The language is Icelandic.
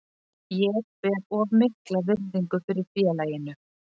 Ég ber of mikla virðingu fyrir félaginu.